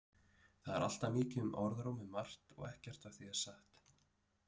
Það er alltaf mikið um orðróm um margt og ekkert af því er satt.